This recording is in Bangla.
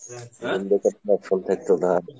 room date এর কোনো option থাকতো না আর।